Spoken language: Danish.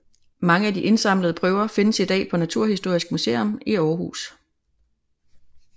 Mange af de indsamlede prøver findes i dag på Naturhistorisk Museum i Aarhus